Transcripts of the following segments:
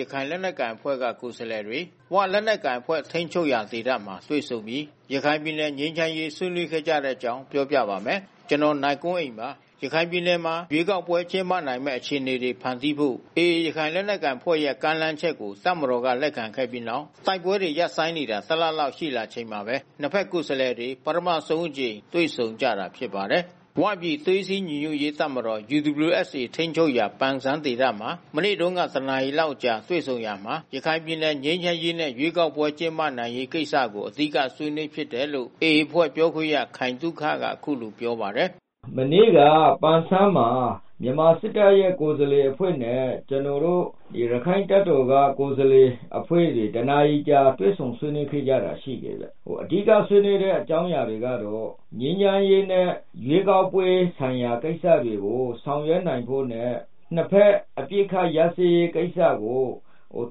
ရခိုင်လက်နက်ကိုင်အဖွဲ့က ကိုယ်စားလှယ်တွေ ဝလက်နက်ကိုင်အဖွဲ့ ထိန်းချုပ်ရာ ဒေသမှာ တွေ့ဆုံပြီး ရခိုင်ပြည်နယ် ငြိမ်းချမ်းရေး ဆွေးနွေးခဲ့ကြတဲ့အကြောင်း ပြောပြပါမယ်။ ဗွီအိုအေမြန်မာပိုင်း သတင်းထောက် ကိုနိုင်ကွန်းအိန်က သတင်းပေးပို့ထားပါတယ်။ ရခိုင်ပြည်နယ်မှာ ရွေးကောက်ပွဲ ကျင်းပနိုင်မယ့် အခြေအနေတွေ ဖန်တီးဖို့ AA ရခိုင်လက်နက်ကိုင်အဖွဲ့ရဲ့ ကမ်းလှမ်းချက်ကို တပ်မတော်က လက်ခံခဲ့ပြီးနောက် တိုက်ပွဲတွေ ရပ်ဆိုင်းနေတာ ၁ လလောက် ရှိလာချိန်မှာပဲ နှစ် ဘက် ကိုယ်စားလှယ်တွေ ပထမဆုံးအကြိမ် တွေ့ဆုံကြတာ ဖြစ်ပါတယ်။ “ဝ” ပြည် သွေးစည်းညီညွတ်ရေးတပ်မတော် ထိန်းချုပ်ရာ ပန်ဆန်းမြို့မှာ မနေ့တုန်းက ၁ နာရီလောက်ကြာ တွေ့ဆုံရာမှာ ရခိုင်ပြည်နယ် ငြိမ်းချမ်းရေးနဲ့ ရွေးကောက်ပွဲတွေ ကျင်းပနိုင်ရေး ကိစ္စတွေကို အဓိက ဆွေးနွေးဖြစ်တယ်လို့လည်း AA အဖွဲ့ ပြောခွင့်ရ ခိုင်သုခက အခုလိုပြောပါတယ်။ “မနေ့က ပန်ဆန်းမှာ မြန်မာစစ်တပ်ရဲ့ ကိုယ်စားလှယ်အဖွဲ့နဲ့ ကျနော်တို့ ရခိုင့်တပ်တော်ကကိုယ်စားလှယ်အဖွဲ့တွေ တနာရီကြာ တွေ့ဆုံဆွေးနွေးခဲ့ကြတာရှိတယ်ဗျ။ အဓိကဆွေးနွေးတဲ့ အကြောင်းအရာတွေကတော့ ငြိမ်းချမ်းရေးနဲ့ ရွေးကောက်ပွဲဆိုင်ရာကိစ္စတွေကို ဆောင်ရွက်နိုင်ဖို့နဲ့ နှစ်ဘက်အပစ်ခတ်ရပ်စဲရေးကိစ္စကို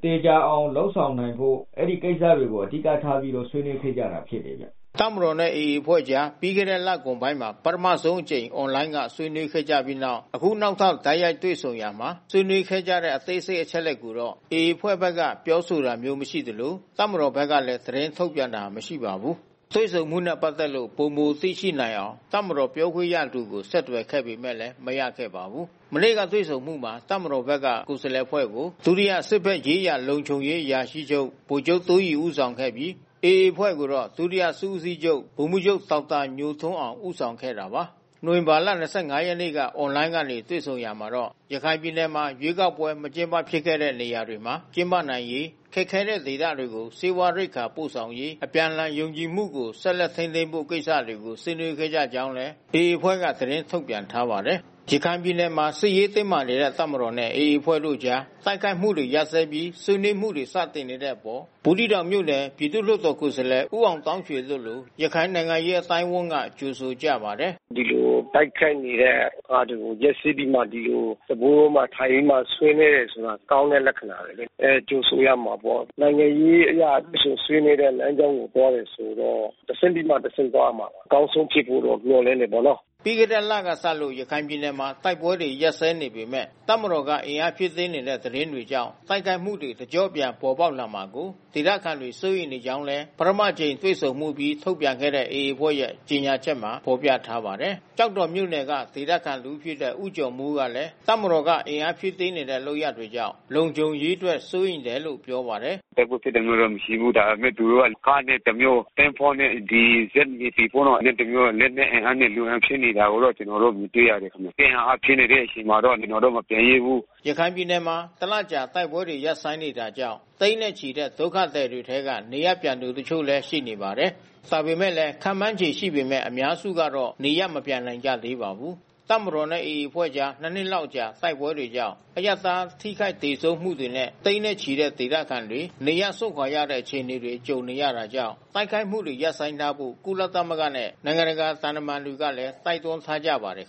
သေချာအောင်လုပ်ဆောင်နိုင်ဖို့ အဲဒီကိစ္စတွေကို အဓိကထားပြီးတော့ ဆွေးနွေးခဲ့ကြတာ ဖြစ်တယ်ဗျ။” တပ်မတော်နဲ့ AA အဖွဲ့ကြား ပြီးခဲ့တဲ့ လကုန်ပိုင်းမှာ ပထမဆုံးအကြိမ် အွန်လိုင်းက ဆွေးနွေးခဲ့ကြပြီးနောက် အခုနောက်ထပ် တိုက်ရိုက်တွေ့ဆုံရာမှာ ဆွေးနွေးခဲ့ကြတဲ့ အသေးစိတ် အချက်အလက်တွေကိုတော့ AA အဖွဲ့ဘက်က ပြောဆိုတာမျိုး မရှိသလို တပ်မတော်ဘက်ကလည်း သတင်းထုတ်ပြန်တာ မရှိပါဘူး။ တွေ့ဆုံမှုနဲ့ ပတ်သက်လို့ ပိုမိုသိရှိနိုင်အောင် တပ်မတော်ပြောခွင့်ရသူကို ဆက်သွယ်ပေမဲ့လည်း မရခဲ့ပါဘူး။ မနေ့ကတွေ့ဆုံမှုမှာ တပ်မတော်ဘက်က ကိုယ်စားလှယ်အဖွဲ့ကို စစ်ဘက်ဆိုင်ရာလုံခြုံရေးအရာရှိချုပ် ဗိုလ်ချုပ်တိုးရီဦးဆောင်ခဲ့ပြီး AA အဖွဲ့ကိုတော့ ဒုတိယ စစ်ဦးစီးချုပ် ဒေါက်တာညိုထွန်းအောင် ဦးဆောင်ခဲ့တာပါ။ နိုဝင်ဘာလ ၂၅ ရက်နေ့က အွန်လိုင်းကနေ တွေ့ဆုံရာမှာတော့ ရခိုင်ပြည်နယ်မှာ ရွေးကောက်ပွဲ မကျင်းပဖြစ်ခဲ့တဲ့ နေရာတွေမှာ ကျင်းပနိုင်ရေး၊ ခက်ခဲတဲ့ဒေသတွေကို ဆေးဝါးရိက္ခာ ပို့ဆောင်ရေး၊ အပြန်အလှန်ယုံကြည်မှုကို ဆက်လက်ထိန်းသိမ်းဖို့ ကိစ္စတွေကို ဆွေးနွေးခဲ့ကြောင်းလည်း AA အဖွဲ့က သတင်းထုတ်ပြန် ထားပါတယ်။ ရခိုင်ပြည်နယ်မှာ စစ်ရေးတင်းမာနေတဲ့ တပ်မတော်နဲ့ AA အဖွဲ့တို့အကြား တိုက်ခိုက်မှုတွေ ရပ်စဲပြီး ဆွေးနွေးမှုတွေ စတင်နေတဲ့အပေါ် ဘူးသီးတောင်မြို့နယ် ပြည်သူ့လွှတ်တော်ကိုယ်စားလှယ် ဦးအောင်သောင်းရွှေ တို့လို ရခိုင်နိုင်ငံရေး အသိုင်းအဝန်းက ကြိုဆိုကြပါတယ်။ “ဒီလိုတိုက်ခိုက်နေတဲ့အစား ရပ်စဲပြီးမှ ဒီလိုစားပွဲဝိုင်းတွေမှာ ထိုင်ပြီးမှ ဆွေးနွေးတယ်ဆိုတာ ကောင်းတဲ့လက္ခဏာပဲလေ။ ကြိုဆိုရမှာပေါ့။ နိုင်ငံရေးအရ တွေ့ဆုံဆွေးနွေးတဲ့လမ်းကြောင်းကိုသွားတယ်ဆိုတော့ တဆင့်ပြီးမှ တဆင့်သွားရမှာပေါ့။ အကောင်းဆုံးဖြစ်ဖို့တော့ မျှော်လင့်တယ်ပေါ့နော်။" ပြီးခဲ့တဲ့လကစလို့ ရခိုင်ပြည်နယ်မှာ တိုက်ပွဲတွေ ရပ်စဲနေပေမဲ့ တပ်မတော်က အင်အားဖြည့်တင်းနေတဲ့ သတင်းတွေကြောင့် တိုက်ခိုက်မှုတွေ တကျော့ပြန် ပေါ်ပေါက်လာမှာကို ဒေသခံတွေ စိုးရိမ်နေကြောင်းလည်း ပထမတကြိမ်တွေ့ဆုံမှုအပြီး ထုတ်ပြန်ခဲ့တဲ့ AA အဖွဲ့ရဲ့ ကြေညာချက်မှာ ဖော်ပြထားပါတယ်။ ကျောက်တော်မြို့နယ်က ဒေသခံတဦးဖြစ်တဲ့ ဦးကျော်မိုးကလည်း တပ်မတော်က အင်အားဖြည့်တင်းနေတဲ့ လုပ်ရပ်တွေကြောင့် လုံခြုံရေးအတွက် စိုးရိမ်တယ်လို့ ပြောပါတယ်။ “တိုက်ပွဲဖြစ်တာမျိုးတော့ မရှိဘူး။ ဒါပေမဲ့ သူတို့က ကားနဲ့တမျိုး၊ သင်္ဘောနဲ့ ဒီဇက် NAVY ပေါ့နော်တမျိုး။ လက်နက်အင်အားနဲ့ လူအင်အားဖြည့်နေတာကိုတော့ ကျနော်တို့ မြင်တွေ့ရတယ်။ စစ်အင်အားဖြည့်နေတဲ့အချိန်မှာတော့ ကျနော်တို့ မပြန်ရဲဘူး။" ရခိုင်ပြည်နယ်မှာ တလလောက်ကြာ တိုက်ပွဲတွေ ရပ်ဆိုင်းနေတာကြောင့် သိန်းနဲ့ချီတဲ့ ဒုက္ခသည်တွေထဲက နေရပ်ပြန်သူ တချို့လည်း ရှိပါတယ်။ ဒါပေမဲ့လည်း ခန့်မှန်းခြေ ရှိပေမဲ့ အများစုကတော့ နေရပ်မပြန်နိုင်ကြသေးပါဘူး။ တပ်မတော်နဲ့ AA အဖွဲ့ကြား ၂ နှစ်လောက်ကြာ တိုက်ပွဲတွေကြောင့် အရပ်သား ထိခိုက်သေဆုံးမှုတွေနဲ့ သိန်းနဲ့ချီတဲ့ ဒေသခံတွေ နေရပ်စွန့်ခွာရတဲ့ အခြေအနေတွေ ကြုံနေရတာကြောင့် တိုက်ခိုက်မှုတွေ ရပ်ဆိုင်းထားဖို့ ကုလသမဂ္ဂနဲ့ နိုင်ငံတကာ သံတမန်တွေကလည်း တိုက်တွန်းထားကြပါတယ်